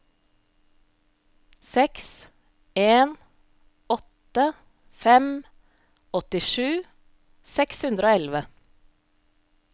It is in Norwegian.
seks en åtte fem åttisju seks hundre og elleve